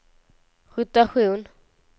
rotation